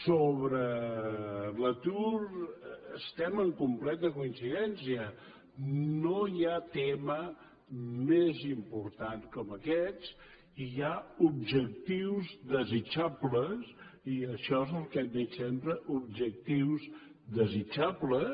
sobre l’atur estem en completa coincidència no hi ha tema més important que aquest i hi ha objectius desitjables i això és el que hem dit sempre objectius desitjables